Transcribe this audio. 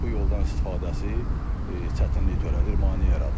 bu yoldan istifadəsi çətinlik törədir, maneə yaradır.